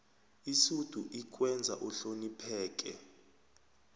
isudu ikwenza uhlonopheke